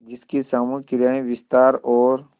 जिसकी सामूहिक क्रियाएँ विस्तार और